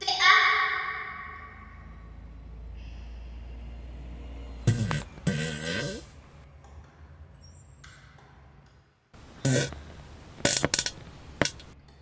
Það lítur vel út núna.